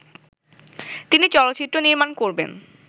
তিনি চলচ্চিত্র নির্মাণ করবেন